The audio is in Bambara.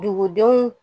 Dugudenw